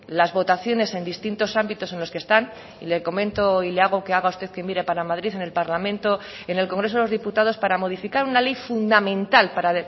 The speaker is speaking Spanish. las votaciones en distintos ámbitos en los que están y le comento y le hago que haga usted que mire para madrid en el parlamento en el congreso de los diputados para modificar una ley fundamental para